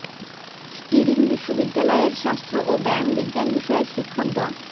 stirring বিশ্ববিদ্যালয়ের স্বাস্থ্য ও ব্যায়াম বিজ্ঞান বিষয়ের শিক্ষক ড